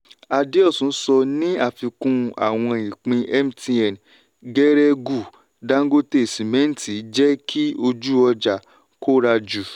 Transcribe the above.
adeosun sọ ní àfikún àwọn ìpín mtn geregu dangote cement jẹ́ kí ojú ọjà kóra jù.